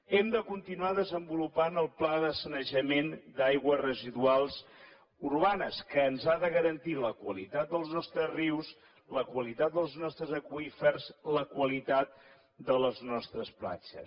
hem de continuar desenvolupant el pla de sanejament d’aigües residuals urbanes que ens ha de garantir la qualitat dels nostres rius la qualitat dels nostres aqüífers la qualitat de les nostres platges